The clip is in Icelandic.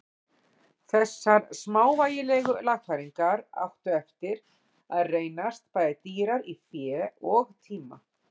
Þessar smávægilegu lagfæringar áttu eftir að reynast bæði dýrar í fé og tíma.